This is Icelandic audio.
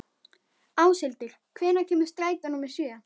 Áshildur, hvenær kemur strætó númer sjö?